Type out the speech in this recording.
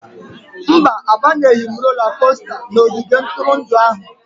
Mba, abanyeghị m rola kosta n'ogige ntụrụndụ ahụ.